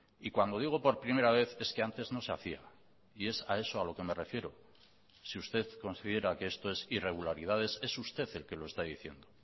y cuando digo por primera vez es que antes no se hacía y es a eso a lo que me refiero si usted considera que esto es irregularidades es usted el que lo está diciendo